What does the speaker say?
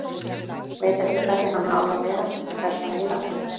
Veit ekki hvernig hann á að vera, þetta er svo neyðarlegt.